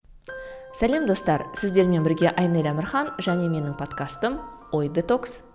сәлем достар сіздермен бірге айнель әмірхан және менің подкастым ой детокс